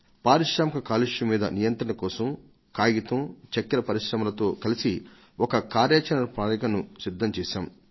పారిశ్రామిక కాలుష్యం మీద నియంత్రణ కోసం కాగితం చక్కెర పరిశ్రమలతో కలసి ఒక కార్యాచరణ ప్రణాళికను సిద్ధం చేశాం